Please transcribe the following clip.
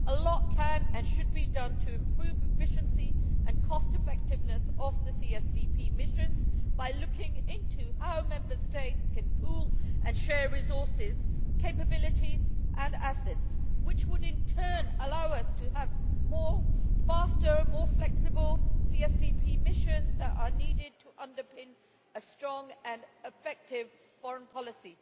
A lot can and should be done to improve the efficiency and cost effectiveness of CSDP missions by looking into how Member States can pool and share resources, capabilities and assets, which would in turn allow us to have the faster, more flexible CSDP missions that are needed to underpin a strong and effective foreign policy.